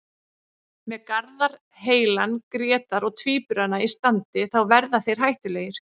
Með Garðar heilan, Grétar og Tvíburana í standi þá verða þeir hættulegir.